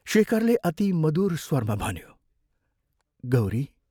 शेखरले अति मदुर स्वरमा भन्यो, "गौरी!